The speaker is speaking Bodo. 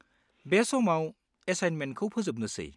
बे समाव, एसाइनमेन्टखौ फोजोबनोसै।